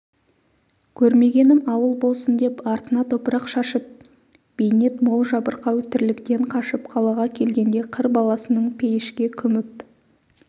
көрмегенім ауыл болсын деп артына топырақ шашып бейнет мол жабырқау тірліктен қашып қалаға келгенде қыр баласының пейішке күміп